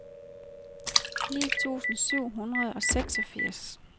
ni tusind syv hundrede og seksogfirs